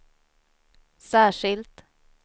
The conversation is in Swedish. särskilt